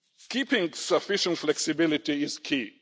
Keeping sufficient flexibility is